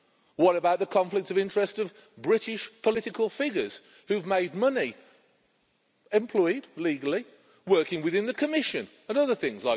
What about the conflict of interest of British political figures who've made money, employed legally, working within the Commission and other things?